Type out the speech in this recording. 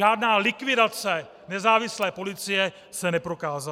Žádná likvidace nezávislé policie se neprokázala.